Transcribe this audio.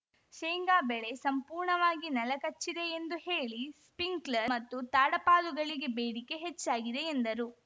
ಶೇಂಗಾ ಬೆಳೆ ಸಂಪೂರ್ಣವಾಗಿ ನೆಲಕಚ್ಚಿದೆ ಎಂದು ಹೇಳಿ ಸ್ಪಿಂಕ್ಲರ್‌ ಮತ್ತು ತಾಡಪಾಲುಗಳಿಗೆ ಬೇಡಿಕೆ ಹೆಚ್ಚಾಗಿದೆ ಎಂದರು